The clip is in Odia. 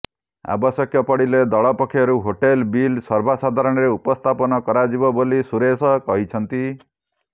ଆବଶ୍ୟକ ପଡ଼ିଲେ ଦଳ ପକ୍ଷରୁ ହୋଟେଲ ବିଲ୍ ସର୍ବସାଧାରଣରେ ଉପସ୍ଥାପନ କରାଯିବ ବୋଲି ସୁରେଶ କହିଛନ୍ତି